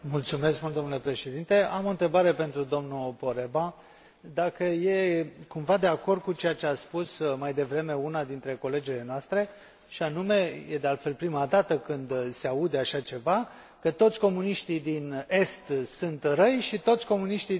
Am o întrebare pentru domnul Poreba dacă e cumva de acord cu ceea ce a spus mai devreme una dintre colegele noastre, și anume e de altfel prima dată când se aude așa ceva că toți comuniștii din Est sunt răi și toți comuniștii din Vest sunt buni?